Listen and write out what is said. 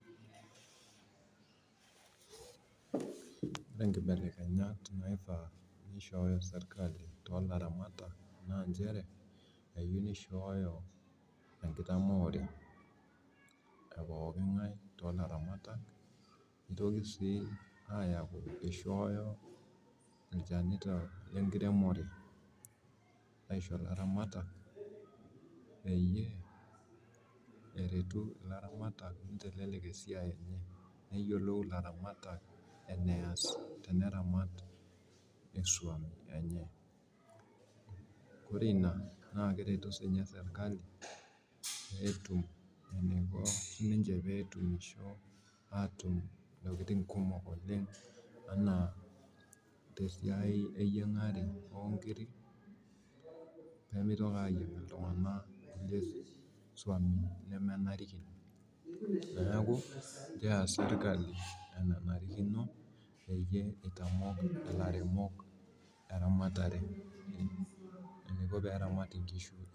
Ore inkibelekenyat naifaa nishoyo serikali too ilaramatak naa ichere keyieu nishoyo, enkitamoore epokingae nitoki sii, ishoyo ichanitok lengiremore aisho ilaramatak peyie eretu ilaramatak, neyiolou enees teneramat esuam enye, ore ina naa keretu sii ninye serikali, eniko niche pee etumusho atum intokitin kumok, enaa tesiai eyiagare neeku kees sirkali enanarikino peeyie itamok ilaramare eniko teneramat inkishu.